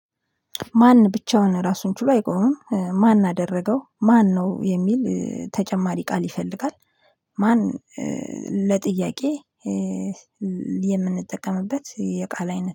ማን ብቻውን ራሱን ችሎ አይቆምም ማን አደረገው ማነው የሚል ተጨማሪ ቃል ይፈልጋል። ማን ለጥያቄ? የምንጠቀምበት የቃል አይነት